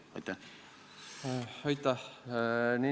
Aitäh!